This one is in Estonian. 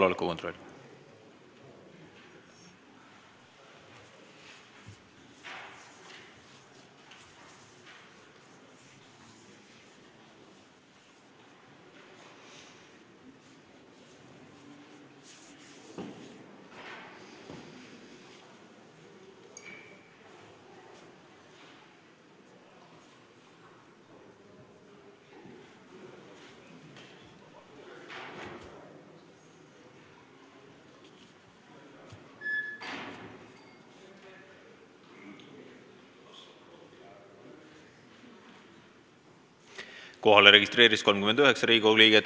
Kohaloleku kontroll Kohalolijaks registreerus 39 Riigikogu liiget.